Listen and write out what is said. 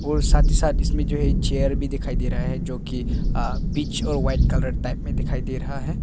और साथ ही साथ इसमें जो है चेयर भी दिखाई दे रहा है जो कि अ पीच और वाइट कलर टाइप में दिखाई दे रहा है।